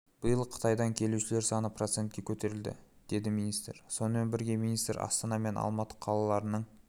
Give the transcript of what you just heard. биыл қытайдан келушілер саны процентке көтерілді деді министр сонымен бірге министр астана мен алматы қалаларының